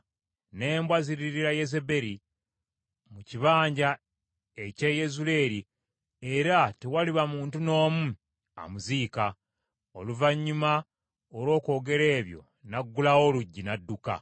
N’embwa ziririira Yezeberi mu kibanja eky’e Yezuleeri era tewaliba muntu n’omu amuziika.’ ” Oluvannyuma olw’okwogera ebyo n’aggulawo oluggi n’adduka.